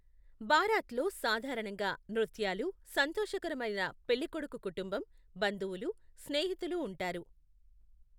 బారాత్లో సాధారణంగా నృత్యాలు, సంతోషకరమైన పెళ్లికొడుకు కుటుంబం, బంధువులు, స్నేహితులు ఉంటారు.